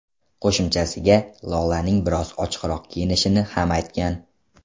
Qo‘shimchasiga Lolaning biroz ochiqroq kiyinishini ham aytgan.